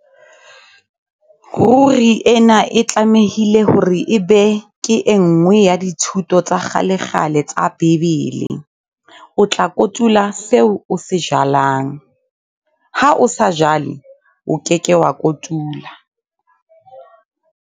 Ruri ena e tlamehile hore ebe ke e nngwe ya dithuto tsa kgalekgale tsa Bibele - o tla kotula seo o se jalang. Ha o sa jale, o ke ke wa kotula.